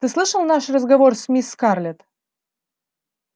ты слышал наш разговор с мисс скарлетт